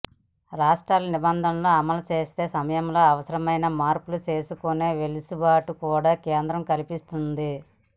రాష్ట్రాలు నిబంధనలు అమలు చేసే సమయంలో అవసరమైన మార్పులు చేసుకునే వెసులుబాటును కూడా కేంద్రం కల్పించనుంది